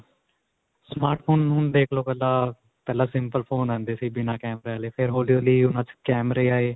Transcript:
smartphone ਹੁਣ ਦੇਖਲੋ ਪਹਿਲਾਂ simple phone ਆਂਦੇ ਸੀ ਬਿਨਾਂ ਕੈਮਰੇ ਆਲੇ ਫਿਰ ਹੋਲੀ-ਹੋਲੀ ਓਹਨਾਂ ਵਿੱਚ ਕੈਮਰੇ ਆਏ.